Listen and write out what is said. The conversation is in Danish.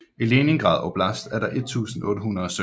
I Leningrad oblast er der 1800 søer